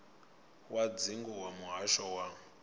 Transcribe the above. wa dzingu wa muhasho wa